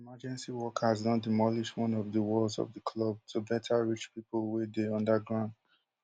emergency workers don demolish one of di walls of di club to beta reach pipo wey dey under ground